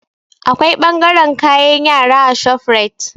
Akwai ɓangaren kayan yara a shofrait